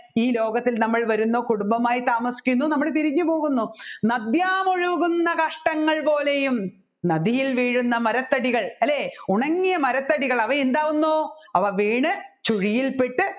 ഈ ലോകത്തിൽ നമ്മൾ വരുന്നു കുടുംബമായി താമസിക്കുന്നു നമ്മൾ പിരിഞ്ഞുപോവുന്നു നദ്യാമൊഴുകുന്ന കഷ്ടങ്ങൾ പോലെയും നദിയിൽ വീഴുന്ന മരത്തടികൾ അല്ലെ ഉണങ്ങിയ മരത്തടികൾ അവ എന്താകുന്നു അവ വീണ് ചുഴിയിൽ പെട്ട്